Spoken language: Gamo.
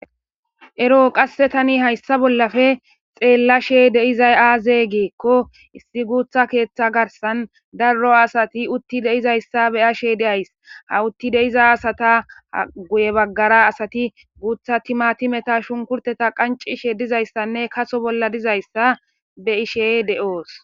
Ero qasse tani hayssa bollafe xeellashe deizay aaze geekko issi guutha keeththa garsan darro asati utti deizayssa beya she deays ha utti deiza asata guye baggara asati guutha timatimeta shunkurteta qancishe dizayssanne kaso bolla dizayssa be ishey de'oos.